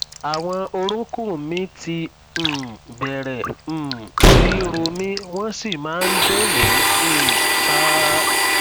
àwọn orúnkún mi ti um bẹrẹ um sí í ro mí wọn sì máa ń dùn mí um ṣáá